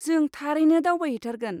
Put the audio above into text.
जों थारैनो दावबायहैथारगोन।